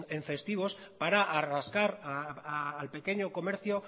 en festivos para nueve al pequeño comercio